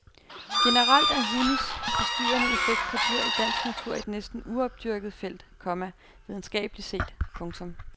Generelt er hundes forstyrrende effekt på dyr i dansk natur et næsten uopdyrket felt, komma videnskabeligt set. punktum